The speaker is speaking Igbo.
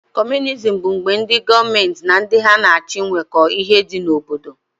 Comunism bụ mgbe gọọmenti na ndị ha na-achị nweko ihe dị n'obodo.